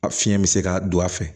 A fiɲɛ bɛ se ka don a fɛ